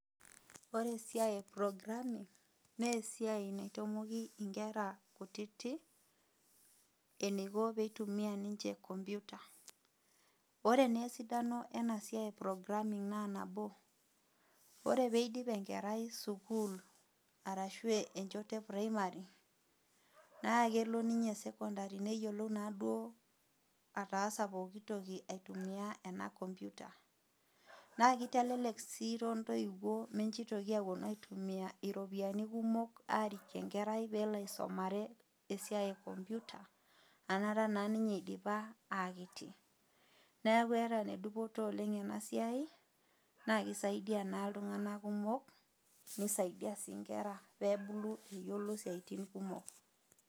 Ore esiai e programing, naa esiai naitamoki inkera kutitik, eneiko pee eitumiya ninche enkompyuta, ore naa esidano ena iai e programing naa, nabo, ore pee eidip enkerai sukuul ashu enchoto premari, naa kelo ninye sekondari neyiolou naa duo ataasa pookitoki aitumia ena toki naji kompyutta, naa keitelelek sii too intoiwuo pee meitoki aawuonu aitumia iropiani kumok arik enkerai pee elo aisumare, esiai e kompyuta anaanta eidipa naa ninye aa kiti, neaku ene dupoto oleng' ena siai naa keisaidia naa iltung'ana kumok, neisaidia sii inkera pee ebulu eyiolo isiaitin kumok.